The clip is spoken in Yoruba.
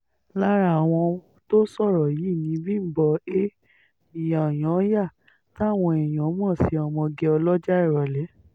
lára àwọn tó sọ̀rọ̀ yìí ni bímbọ a kyanyanya táwọn èèyàn mọ̀ sí ọmọge ọlọ́jà ìrọ̀lẹ́